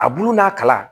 A bulu n'a kalan